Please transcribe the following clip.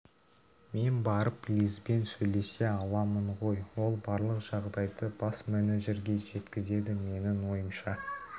мен барып лизбен сөйлесе аламын ғой ол барлық жағдайды бас менеджерге жеткізеді менің ойымша